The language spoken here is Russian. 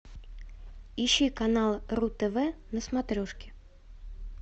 ищи канал ру тв на смотрешке